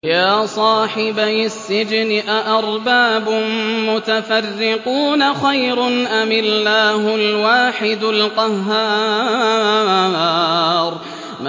يَا صَاحِبَيِ السِّجْنِ أَأَرْبَابٌ مُّتَفَرِّقُونَ خَيْرٌ أَمِ اللَّهُ الْوَاحِدُ الْقَهَّارُ